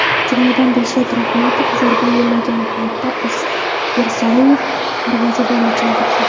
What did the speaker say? Jumladan Dilshod Rahmatov zarba yo‘llagan paytda Irsaliyev darvozabonni chalg‘itdi.